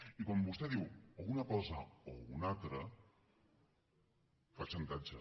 i quan vostè diu o una cosa o una altra fa xantatge